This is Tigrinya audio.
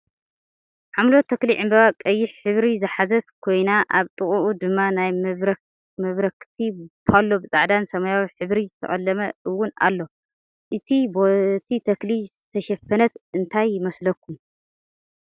ሓምለወት ተክሊ ዕንበባ ቀይሕ ሕብሪ ዝሓዘት ኮይና ኣብ ጥቅኡ ድማ ናይ መብራክቲ ቦሎ ብፃዕዳን ሰማያዊን ሕብሪ ዝተቀለመ እውን ኣሎ። እታ በቲ ተክሊ ዝተሸፈነት እንታይ ይመስለኩም?